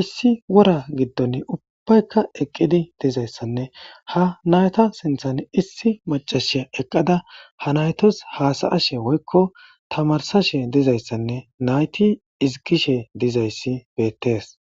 issi wora giddon ubbaykka eqqidi dizayssanne ha nayta sinthan issi macashiya eqqada ha naytos haasaashe woykko tamarsashe dizayssanne nayti izikishe dizayssi beettees